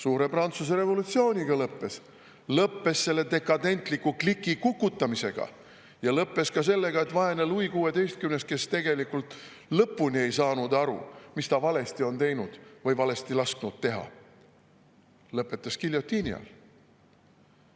Suure Prantsuse revolutsiooniga lõppes, lõppes selle dekadentliku kliki kukutamisega ja lõppes sellega, et vaene Louis XVI, kes tegelikult ei saanud lõpuni aru, mis ta valesti tegi või lasi valesti teha, lõpetas giljotiini all.